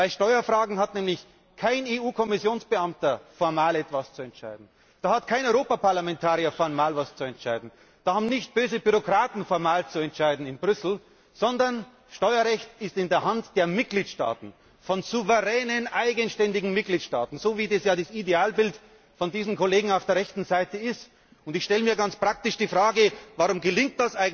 Bei Steuerfragen hat nämlich kein EU Kommissionsbeamter formal etwas zu entscheiden, da hat kein Europaparlamentarier formal etwas zu entscheiden, da haben nicht böse Bürokraten in Brüssel formal zu entscheiden, sondern Steuerrecht ist in der Hand der Mitgliedstaaten, von souveränen, eigenständigen Mitgliedstaaten, so wie es ja das Idealbild der Kollegen auf der rechten Seite ist. Ich stelle mir ganz praktisch die Frage Warum gelingt